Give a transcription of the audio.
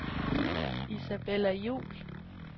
Isabella Juhl